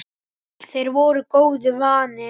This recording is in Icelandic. Þeir voru góðu vanir.